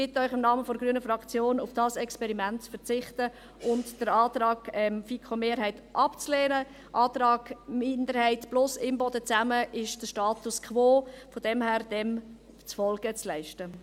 Ich bitte Sie im Namen der grünen Fraktion, auf dieses Experiment zu verzichten, den Antrag der FiKo-Mehrheit abzulehnen und dem Antrag der Minderheit plus Imboden – das ist der Status quo – Folge zu leisten.